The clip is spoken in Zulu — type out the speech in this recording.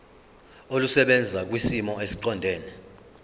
olusebenza kwisimo esiqondena